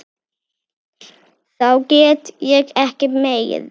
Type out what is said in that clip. Þá gat ég ekki meir.